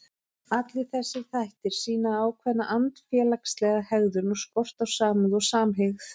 Allir þessir þættir sýna ákveðna andfélagslega hegðun og skort á samúð og samhygð.